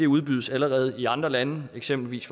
udbydes allerede i andre lande eksempelvis